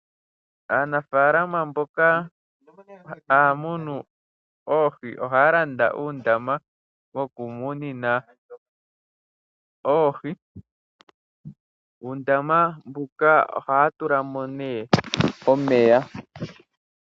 Aanafaalama mboka haya munu oohi ohaya landa uundama woku munina oohi . Muundama mbuka ohaya tulamo nee omeya.